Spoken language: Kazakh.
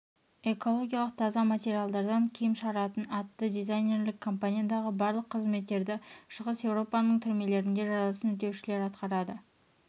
экологиялық таза материалдардан киім шығаратын атты дизайнерлік компаниядағы барлық қызметтерді шығыс еуропаның түрмелерінде жазасын өтеушілер атқарады